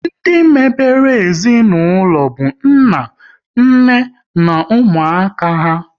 Ndị mebere ezinaụlọ bụ nna, nne na ụmụaka há